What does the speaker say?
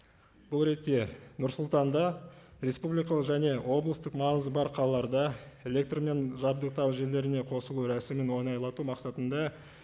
бұл ретте нұр сұлтанда республикалық және облыстық маңызы бар қалаларда электрмен жабдықтау жүйелеріне қосылу рәсімін оңайлату мақсатында